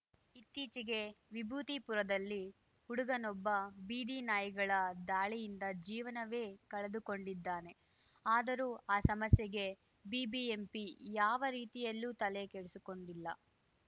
ಇತ್ತೀಚೆಗೆ ವಿಭೂತಿಪುರದಲ್ಲಿ ಹುಡುಗನೊಬ್ಬ ಬೀದಿನಾಯಿಗಳ ದಾಳಿಯಿಂದ ಜೀವನವೇ ಕಳೆದುಕೊಂಡಿದ್ದಾನೆ ಆದರೂ ಆ ಸಮಸ್ಯೆಗೆ ಬಿಬಿಎಂಪಿ ಯಾವ ರೀತಿಯಲ್ಲೂ ತಲೆಕೆಡಿಸಿಕೊಂಡಿಲ್ಲ